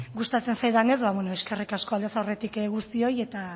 gustatzen zaidanez eskerrik asko aldez aurretik guztioi